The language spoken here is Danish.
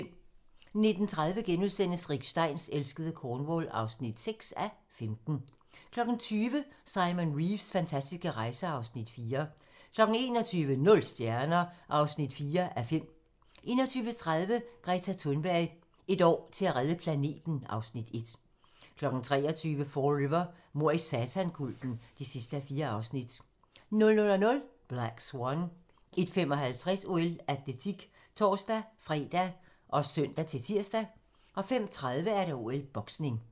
19:30: Rick Steins elskede Cornwall (6:15)* 20:00: Simon Reeves fantastiske rejser (Afs. 4) 21:00: Nul stjerner (4:5) 21:30: Greta Thunberg: Et år til at redde planeten (Afs. 1) 23:00: Fall River: Mord i satankulten (4:4) 00:00: Black Swan 01:55: OL: Atletik (tor-fre og søn-tir) 05:30: OL: Boksning